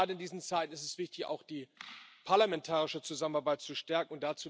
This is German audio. Gerade in diesen Zeiten ist es wichtig, auch die parlamentarische Zusammenarbeit zu stärken.